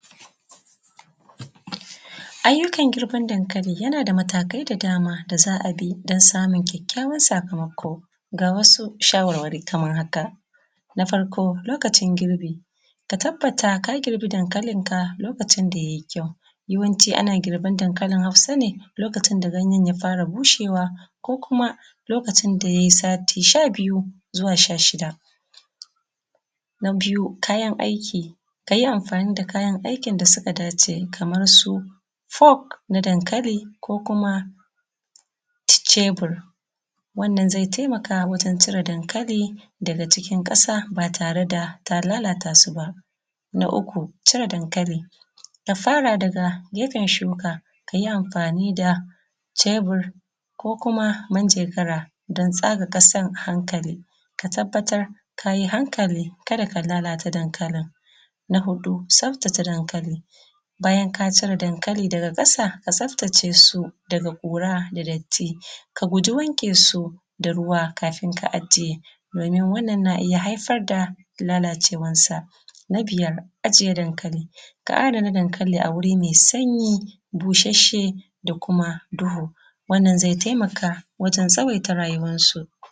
Ayyukan girban dankalin yana da matakai da dama don samun ƙyaƙƙyawan sakamako ga wasu shawarwari kamar haka: Na farko lokacin girbi ka tabbata ka girbi dankalinka lokaci da ya yi ƙyau. Yawanci ana girban dankalin hausa ne lokacin da ganyen ya fara bushewa ko kuma lokacin da ya yi sati sha biyu zuwa sha shida.. Na biyu kayan aiki, ka yi amfani da aikin da suka dace kamar su pork na dankalin ko kuma cebur wannan zai taimaka wajen cire dankalin daga ƙasa ba tare da ka lalata su ba. Na uku cire dankali, ka fara daga gefen shuka ka yi amfani da cebur ko kuma minjagara don tsaga ƙasar a hankali. Ka tabbatar ka yi hankali ka da ka lalata dankalin. Na hudu tsaftace dankali, bayan ka cire dankali daga ƙasa ka tsaftace su daga ƙura daga datti, ka guji wanke su da ruwa kafin ka ajiye don wannan na iya haifar da lalacewarsa. Biyar ajiye dankali a adana dankali a wuri mai sanyi, busasshe da kuma duhu wannan zai taimaka wajen tsawaita rayuwarsu.